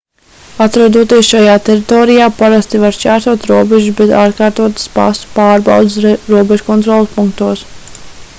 atrodoties šajā teritorijā parasti var šķērsot robežas bez atkārtotas pasu pārbaudes robežkontroles punktos